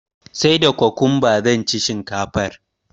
sai da cucumber zanci shinkafar